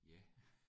Ja